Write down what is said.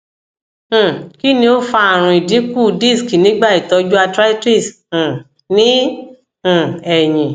um kí ni o fa àrùn idikun disk nigba itọju arthritis um ni um eyin